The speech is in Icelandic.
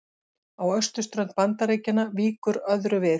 Á austurströnd Bandaríkjanna víkur öðru við.